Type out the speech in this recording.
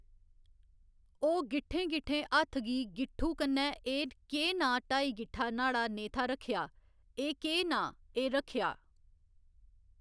ओह् गिट्ठें गिट्ठें हत्थ गी गिट्ठू कन्नै एह् केह् नांऽ ढाई गिट्ठां न्हाड़ा नेथा रक्खेआ एह् केह् नांऽ एह् रक्खेआ